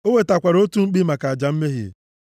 O wetakwara otu mkpi maka aja mmehie,